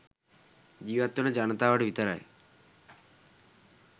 ජීවත්වන ජනතාවට විතරයි.